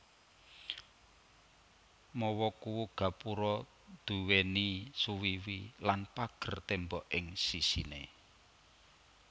Mawa kuwu gapura duwéni suwiwi lan pager tembok ing sisiné